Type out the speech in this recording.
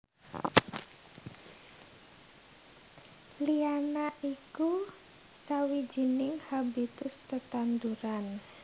Liana iku sawijining habitus tetanduran